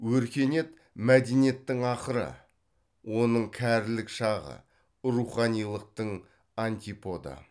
өркениет мәдениеттің ақыры оның кәрілік шағы руханилықтың антиподы